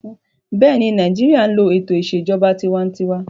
Bẹ́ẹ̀ni, Nàìjíríyà n lo ètò ìṣèjọba tinwatinwa